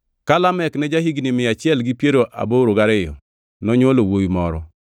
Ka Lamek ne ja-higni mia achiel gi piero aboro gariyo, nonywolo wuowi moro.